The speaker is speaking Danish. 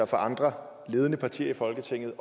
fra andre ledende partier i folketinget